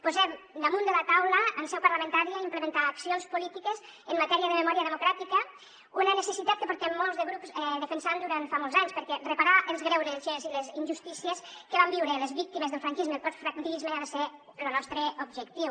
posem damunt de la taula en seu parlamentària implementar accions polítiques en matèria de memòria democràtica una necessitat que portem molts de grups defensant durant fa molts anys perquè reparar els greuges i les injustícies que van viure les víctimes del franquisme i el postfranquisme ha de ser lo nostre objectiu